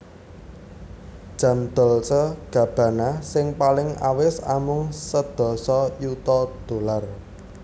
Jam Dolce Gabbana sing paling awis amung sedasa yuta dollar